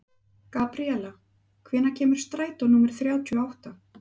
Gabríela, hvenær kemur strætó númer þrjátíu og átta?